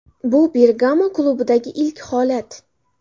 Bu Bergamo klubidagi ilk holat.